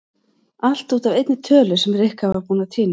Allt út af einni tölu sem Rikka var búin að týna.